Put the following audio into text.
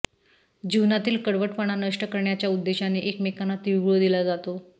जीवनातील कडवटपणा नष्ट करण्याच्या उद्देशाने एकमेकांना तीळगुळ दिला जातो